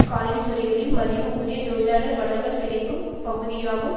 காலணி துறைகளில் மலிவு ஊதிய தொழிலாளர் வளங்கள் கிடைக்கும் பகுதியாகும்